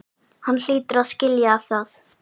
Hann hlýtur að skilja það.